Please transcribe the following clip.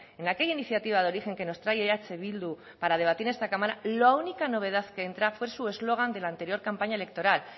en aquella iniciativa de origen que nos trae eh bildu para debatir en esta cámara la única novedad que entra fue su eslogan de la anterior campaña electoral